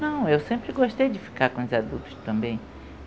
Não, eu sempre gostei de ficar com os adultos também.